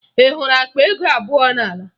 Ị hụrụ akpa ego abụọ n'ala?